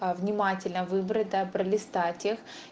э внимательно выбрать да пролистать их